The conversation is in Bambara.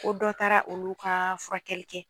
Ko dɔ taara olu ka furakɛli kɛ.